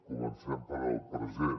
comencem pel present